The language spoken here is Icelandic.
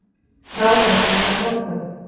Ráðherraskipti á morgun